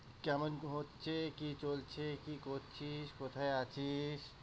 কেমন কি হচ্ছে? কি চলছে? কি করছিস? কোথায় আছিস?